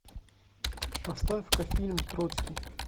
поставь ка фильм троцкий